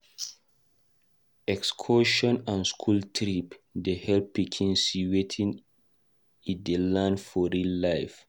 Excursion and school trip dey help pikin see wetin e dey learn for real life.